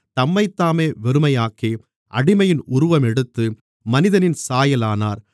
தம்மைத்தாமே வெறுமையாக்கி அடிமையின் உருவமெடுத்து மனிதனின் சாயல் ஆனார்